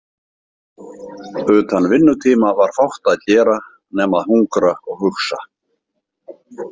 Utan vinnutíma var fátt að gera nema að hungra og hugsa.